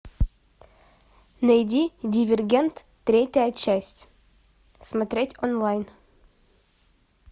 найди дивергент третья часть смотреть онлайн